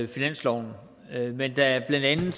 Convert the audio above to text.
finansloven men da blandt andet